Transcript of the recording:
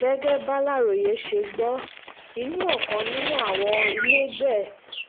gẹ́gẹ́ bàlàròyé ṣe gbọ́ inú ọkàn nínú àwọn ilégbèé